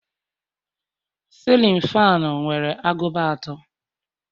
cillin fanu nwere agụba atọ